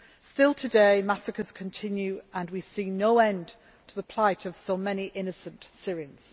Still today, massacres continue and we see no end to the plight of so many innocent Syrians.